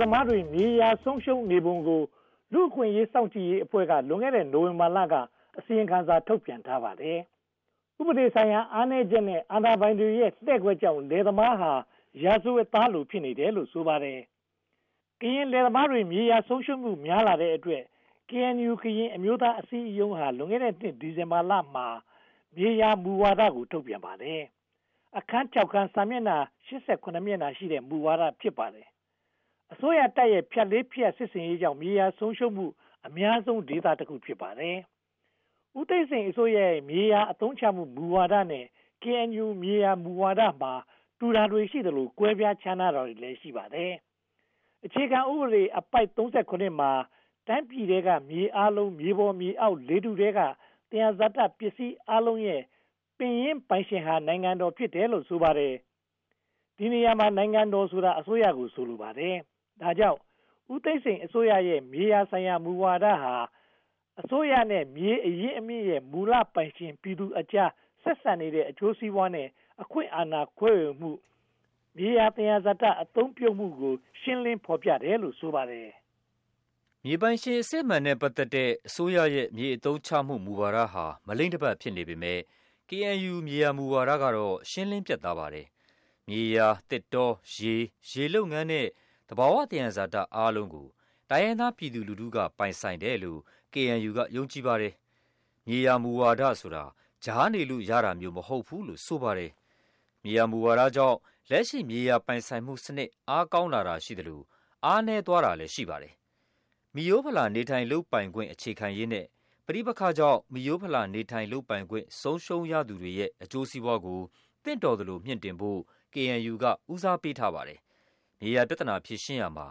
သမားတွေ လယ်ယာဆုံးရှုံးနေပုံကို လူ့အခွင့်အရေး စောင့်ကြည့်ရေးအဖွဲ့က လွန်ခဲ့တဲ့ နိုဝင်ဘာလက အစီရင်ခံစာ ထုတ်ပြန်ထားပါတယ်။ ဥပဒေဆိုင်ရာ အားနည်းချက်နဲ့ အာဏာပိုင်တွေရဲ့ လှည့်ကွက်ကြောင့် လယ်သမားဟာ ရာဇဝတ်သားလို ဖြစ်နေတယ်လို့ ဆိုပါတယ်။ ကရင်လယ်သမားတွေ မြေယာဆုံးရှုံးမှု များလာတဲ့အတွက် KNU ကရင်အမျိုးသားအစည်းအရုံးက လွန်ခဲ့တဲ့နှစ် ဒီဇင်ဘာလမှာ မြေယာမူဝါဒကို ထုတ်ပြန်ပါတယ်။ အခန်း (၆) ခန်း၊ စာမျက်နှာ (၈၇) မျက်နှာရှိတဲ့ မူဝါဒ ဖြစ်ပါတယ်။ အစိုးရတပ်ရဲ့ ဖြတ်လေးဖြတ် စစ်ဆင်ရေးကြောင့် မြေယာဆုံးရှုံးမှု အများဆုံးဒေသတခု ဖြစ်နေပါတယ်။ ဦးသိန်းစိန်အစိုးရရဲ့ မြေယာအသုံးချမှု မူဝါဒနဲ့ KNU မြေယာမူဝါဒမှာ တူတာတွေရှိသလို၊ ကွဲပြားခြားနားတာတွေလည်း ရှိပါတယ်။ အခြေခံဥပဒေအပိုဒ် (၃၇) မှာ တိုင်းပြည်ထဲက မြေအားလုံး မြေပေါ်မြေအောက်နဲ့ လေထုထဲက သယံဇာတပစ္စည်းအားလုံးရဲ့ ပင်ရင်းပိုင်ရှင်ဟာ နိုင်ငံတော်ဖြစ်တယ်လို့ ဆိုပါတယ်။ ဒီနေရာမှာ နိုင်ငံတော်ဆိုတာ အစိုးရကို ဆိုလိုပါတယ်။ ဒါကြောင့် ဦးသိန်းစိန်အစိုးရရဲ့ မြေဆိုင်ရာ မူဝါဒဟာ "အစိုးရနှင့် မြေအရင်းအမြစ်၏ မူလပိုင်ရှင်ပြည်သူများ" အကြား ဆက်စပ်နေတဲ့ အကျိုးစီးပွားနဲ့ အခွင့်အာဏာခွဲဝေမှု၊ မြေဆိုင်ရာ သယံဇာတ အသုံးပြုမှုကို ရှင်းလင်းဖော်ပြထားတယ်လို့ ဆိုပါတယ်။ မြေပိုင်ရှင် အစစ်အမှန်နဲ့ ပတ်သက်တဲ့ အစိုးရရဲ့ မြေအသုံးချမှု မူဝါဒဟာ မလိမ့်တပတ် ဖြစ်နေပေမယ့် KNU မြေယာမူဝါဒကတော့ ရှင်းလင်းပြတ်သားပါတယ်။ မြေယာ၊ သစ်တော၊ ရေ၊ ရေလုပ်ငန်း နှင့် သဘာဝသယံဇာတအားလုံးကို တိုင်းရင်းသားပြည်သူလူထုက ပိုင်ဆိုင်တယ်လို့ KNU က ယုံကြည်ပါတယ်။ မြေယာမူဝါဒဆိုတာ ကြားနေလို့ ရတာမျိုးမဟုတ်ဘူးလို့ ဆိုပါတယ်။ မြေယာမူဝါဒကြောင့် လက်ရှိမြေယာပိုင်ဆိုင်မှုစနစ် အားကောင်းလာတာ ရှိသလို အားနည်းသွားတာလည်း ရှိပါတယ်။ မီးရိုဖလာ နေထိုင်လုပ်ပိုင်ခွင့် အခြေခိုင်ရေးနဲ့ ပဋိပက္ခကြောင့် မိရိုးဖလာ နေထိုင်လုပ်ပိုင်ခွင့် ဆုံးရှုံးသူတွေရဲ့ အကျိုးစီးပွားကို သင့်တော်သလို မြှင့်တင်ဖို့ KNU က ဦးစားပေးထားပါတယ်။ မြေယာပြဿနာ ဖြေရှင်းရာမှာ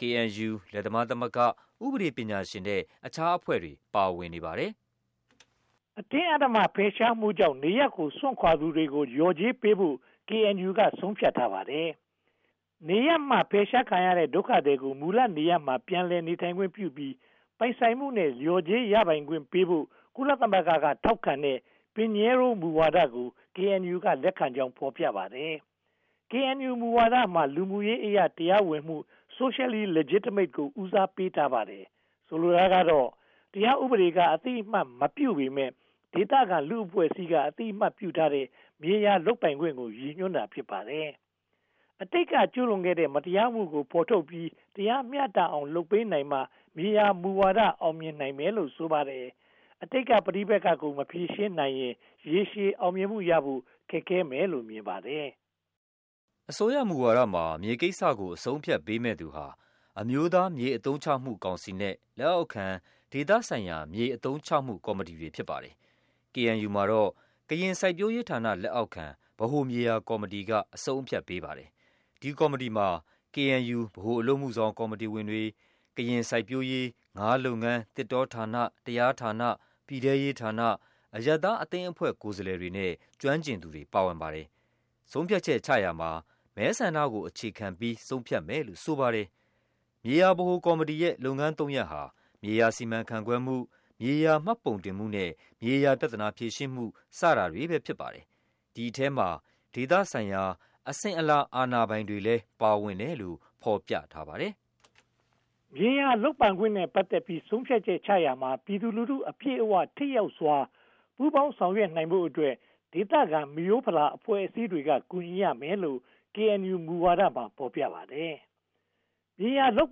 KNU, လယ်သမားသမဂ္ဂ၊ ဥပဒေပညာရှင်နဲ့ အခြားအဖွဲ့အစည်းတွေ ပါဝင်နေပါတယ်။ အတင်းအဓမ္မ ဖယ်ရှားမှုကြောင့် နေရပ်ကို စွန့်ခွါသူတွေကို လျော်ကြေးပေးဖို့ KNU က ဆုံးဖြတ်ထားပါတယ်။ နေရပ်မှ ဖယ်ရှားခံရတဲ့ ဒုက္ခသည်ကို မူလနေရပ်မှာ ပြန်လည်နေထိုင်ခွင့်ပြုပြီး ပိုင်ဆိုင်မှုနဲ့ လျော်ကြေးရပိုင်ခွင့်ဖို့ ကုလသမဂ္ဂ ထောက်ခံတဲ့ Pinheiro မူဝါဒကို KNU က လက်ခံကြောင်း ဖော်ပြပါတယ်။ ဆိုလိုတာကတော့ တရားဥပဒေက အသိအမှတ်မပြုပေမယ့် ဒေသခံလူ့အဖွဲ့အစည်းက အသိအမှတ်ပြုထားတဲ့ မြေယာလုပ်ပိုင်ခွင့်ကို ရည်ညွှန်းတာ ဖြစ်ပါတယ်။ အတိတ်က ကျူးလွန်ခဲ့တဲ့ မတရားမှုကို ဖော်ထုတ်ပြီး တရားမျှတအောင် လုပ်ပေးနိုင်မှ မြေယာမူဝါဒ အောင်မြင်နိုင်မယ်လို့ ဆိုပါတယ်။ အတိတ်က ပဋိပက္ခကို မဖြေရှင်းနိုင်ရင် ရေရှည်အောင်မြင်မှုရဖို့ ခက်ခဲမယ်လို့ မြင်ပါတယ်။ အစိုးရမူဝါဒမှာ မြေကိစ္စကို အဆုံးအဖြတ်ပေးမယ့်သူဟာ အမျိုးသားမြေ အသုံးချမှုကောင်စီနဲ့ လက်အောက်ခံဒေသဆိုင်ရာ မြေအသုံးချမှုကော်မတီတွေ ဖြစ်ပါတယ်။ KNU မှာတော့ ကရင်စိုက်ပျိုးရေးဌာန လက်အောက်ခံ ဗဟိုမြေယာကော်မတီက အဆုံးအဖြတ်ပေးပါတယ်။ ဒီကော်မတီမှာ KNU ဗဟိုအလုပ်အမှုဆောင်ကော်မတီဝင်များ၊ ကရင်စိုက်ပျိုးရေး၊ ငါးလုပ်ငန်း၊ သစ်တောဌာန၊ တရားရေးဌာန၊ ပြည်ထဲရေးဌာန၊ အရပ်သားအသင်းအဖွဲ့ ကိုယ်စားလှယ်တွေနဲ့ ကျွမ်းကျင်သူတွေ ပါဝင်ပါတယ်။ ဆုံးဖြတ်ချက်ချရာမှာ မဲဆန္ဒကို အခြေခံပြီး ဆုံးဖြတ်မယ်လို့ ဆိုပါတယ်။ မြေယာဗဟိုကော်မတီရဲ့ လုပ်ငန်းသုံးရပ်ဟာ မြေယာစီမံခန့်ခွဲမှု၊ မြေယာမှတ်ပုံတင်မှုနဲ့ မြေယာပြဿနာ ဖြေရှင်းမှု စတာတွေပဲ ဖြစ်ပါတယ်။ ဒီအထဲမှာ ဒေသဆိုင်ရာ အစဉ်အလာ အာဏာပိုင်တွေလည်း ပါဝင်တယ်လို့ ဖော်ပြထားပါတယ်။ မြေယာလုပ်ပိုင်ခွင့်နဲ့ ပတ်သက်ပြီး ဆုံးဖြတ်ချက်ချရာမှာ ပြည်သူလူထု အပြည့်အဝ ထိရောက်စွာ ပူးပေါင်းဆောင်ရွက်နိုင်ဖို့အတွက် ဒေသခံ မိရိုးဖလာ အဖွဲ့အစည်းတွေက ကူညီရမယ်လို့ KNU မူဝါဒမှာ ဖော်ပြပါတယ်။ မြေယာလုပ်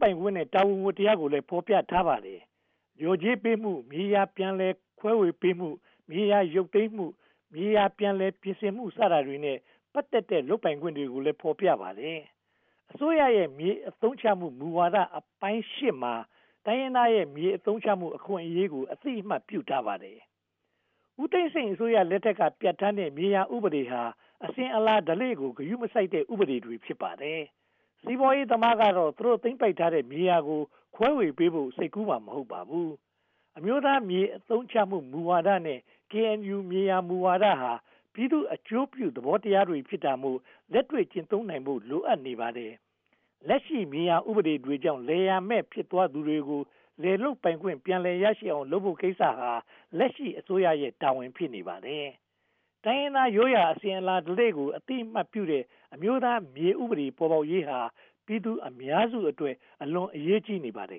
ပိုင်ခွင့်နဲ့ တာဝန်ဝတ္တရားကိုလည်း ဖော်ပြထားပါတယ်။ လျော်ကြေးပေးမှု၊ မြေယာပြန်လည်ခွဲဝေပေးမှု၊ မြေယာရုပ်သိမ်းမှု၊ မြေယာပြန်လည်ပြင်ဆင်မှု စတာတွေနဲ့ ပတ်သက်တဲ့ လုပ်ပိုင်ခွင့်တွေကိုလည်း ဖော်ပြပါတယ်။ အစိုးရရဲ့ မြေအသုံးချမှု မူဝါဒအပိုင်း (၈) မှာ တိုင်းရင်းသားရဲ့ မြေအသုံးချမှု အခွင့်အရေးကို အသိအမှတ် ပြုထားပါတယ်။ ဦးသိန်းစိန်အစိုးရလက်ထက်က ပြဌာန်းထားတဲ့ မြေယာဥပဒေတွေဟာ အစဉ်အလာဓလေ့ကို ဂရုမစိုက်တဲ့ ဥပဒေတွေ ဖြစ်ပါတယ်။ စီးပွားရေးသမားကတော့ သူတို့ သိမ်းပိုက်ထားတဲ့ မြေယာကို ခွဲဝေပေးဖို့ စိတ်ကူးမှာ မဟုတ်ပါဘူး။ အမျိုးသားမြေ အသုံးချမှု မူဝါဒနဲ့ KNU မြေယာမူဝါဒဟာ ပြည်သူ့အကျိုးပြု သဘောတရားတွေ ဖြစ်တာမို့ လက်တွေ့ကျင့်သုံးနိုင်ဖို့ လိုအပ်နေပါတယ်။ လက်ရှိ မြေယာဥပဒေတွေကြောင့် လယ်ယာမဲ့ ဖြစ်သွားသူတွေကို လယ်လုပ်ပိုင်ခွင့် ပြန်ရအောင်လုပ်ဖို့ကိစ္စဟာ လက်ရှိအစိုးရရဲ့တာဝန် ဖြစ်နေပါတယ်။ တိုင်းရင်းသားရိုးရာ အစဉ်အလာဓလေ့ကို အသိအမှတ်ပြုတဲ့ အမျိုးသားမြေ ဥပဒေ ပေါ်ပေါက်ရေးဟာ ပြည်သူအများစုအတွက် အလွန်အရေးကြီးနေပါတယ်